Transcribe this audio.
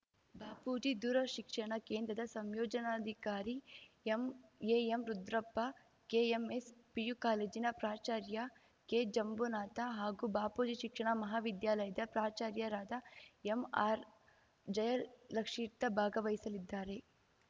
ಬಾಪೂಜಿ ದೂರಶಿಕ್ಷಣ ಕೇಂದ್ರದ ಸಂಯೋಜನಾಧಿಕಾರಿ ಎಂಎಎಂ ರುದ್ರಪ್ಪ ಕೆಎಂಎಸ್‌ ಪಿಯು ಕಾಲೇಜಿನ ಪ್ರಾಚಾರ್ಯ ಕೆ ಜಂಬುನಾಥ ಹಾಗೂ ಬಾಪೂಜಿ ಶಿಕ್ಷಣ ಮಹಾವಿದ್ಯಾಲಯದ ಪ್ರಾಚಾರ್ಯರಾದ ಎಂಆರ್‌ ಜಯಲಕ್ಷೀತ್ರ ಭಾಗವಹಿಸಲಿದ್ದಾರೆ